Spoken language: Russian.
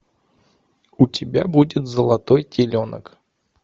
у тебя будет золотой теленок